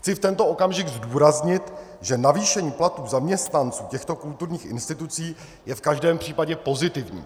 Chci v tento okamžik zdůraznit, že navýšení platů zaměstnanců těchto kulturních institucí je v každém případě pozitivní.